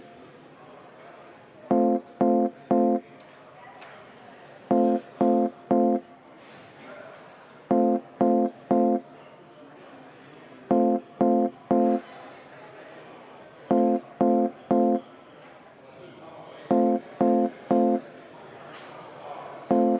Ma panengi hääletusele umbusalduse avaldamise maaeluminister Mart Järvikule.